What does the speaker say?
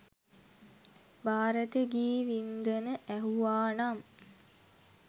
භාරත ගී වින්ඳන ඇහුවා නම්